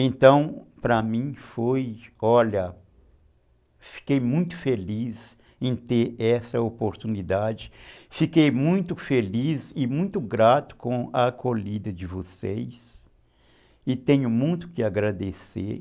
Então, para mim, foi, olha, fiquei muito feliz em ter essa oportunidade, fiquei muito feliz e muito grato com a acolhida de vocês e tenho muito que agradecer e tenho muito que agradecer